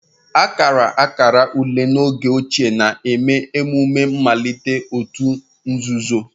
Akara akara ule n'oge ochie na-eme emume mmalite òtù nzuzo